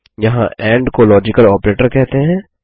यहाँ एंड को logical operator कहते हैं